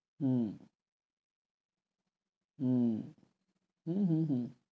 হম হম হম হম হম